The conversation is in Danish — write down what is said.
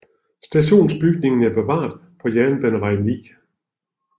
Stationsbygningen er bevaret på Jernbanevej 9